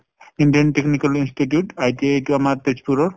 indian technical institute, ITI এইটো আমাৰ তেজপুৰৰ ।